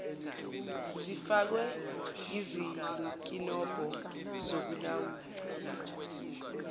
zifakwe izinkinobho zokulawula